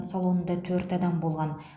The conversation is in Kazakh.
салонында төрт адам болған